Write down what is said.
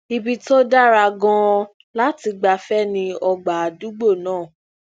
ibi tó dára ganan lati gbafẹ ni ọgbà adugbo naa